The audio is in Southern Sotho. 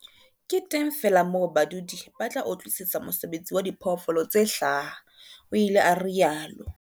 Ke teng feela moo badudi ba tla utlwisisa mosebetsi wa diphoofolo tse hlaha, o ile a rialo.